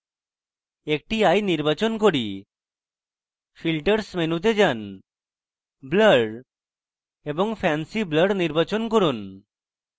একটি eye নির্বাচন করি filters মেনুতে যান blur এবং fancy blur নির্বাচন করুন